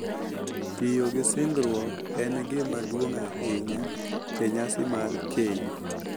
Tiyo gi singruok en gima duong’ ahinya e nyasi mar keny.